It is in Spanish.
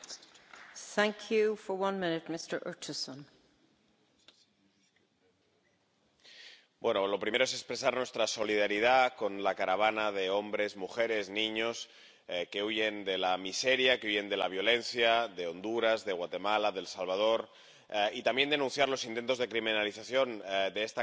Señora presidenta, en primer lugar deseo expresar nuestra solidaridad con la caravana de hombres, mujeres y niños que huyen de la miseria, que huyen de la violencia de Honduras, de Guatemala, de El Salvador. Deseo también denunciar los intentos de criminalización de esta caravana —cuando estamos